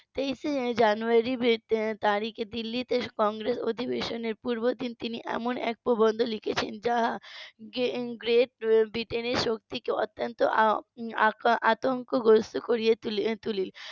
তেইশে জানুয়ারির তারিখে দিল্লিতে কংগ্রেস অধিবেশনের পূর্বদিন তিনি এমন এক প্রবন্ধ লিখেছেন যা গ্রেট ব্রিটেনের শক্তিকে অত্যন্ত আতা~ আতঙ্কগ্রস্ত করে তোলে তুলি